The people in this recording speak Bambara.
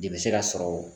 De bɛ se ka sɔrɔ